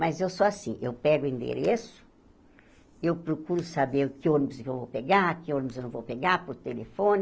Mas eu sou assim, eu pego o endereço, eu procuro saber que ônibus que eu vou pegar, que ônibus eu não vou pegar, por telefone,